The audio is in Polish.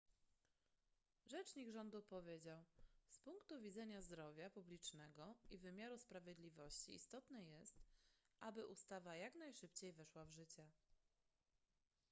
rzecznik rządu powiedział z punktu widzenia zdrowia publicznego i wymiaru sprawiedliwości istotne jest aby ustawa jak najszybciej weszła w życie